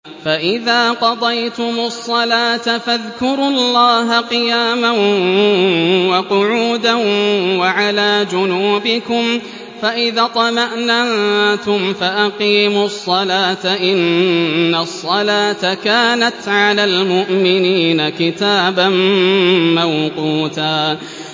فَإِذَا قَضَيْتُمُ الصَّلَاةَ فَاذْكُرُوا اللَّهَ قِيَامًا وَقُعُودًا وَعَلَىٰ جُنُوبِكُمْ ۚ فَإِذَا اطْمَأْنَنتُمْ فَأَقِيمُوا الصَّلَاةَ ۚ إِنَّ الصَّلَاةَ كَانَتْ عَلَى الْمُؤْمِنِينَ كِتَابًا مَّوْقُوتًا